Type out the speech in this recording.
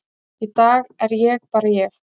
í dag er ég bara ég.